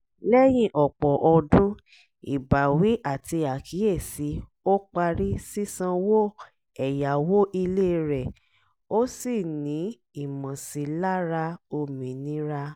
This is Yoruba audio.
lẹ́yìn ọ̀pọ̀ ọdún ìbáwí àti àkíyèsí ó parí sísanwó ẹ̀yáwó ilé rẹ̀ ó sì ní ìmọ̀sílára òmìnira